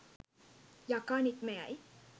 යකා නික්ම යයි.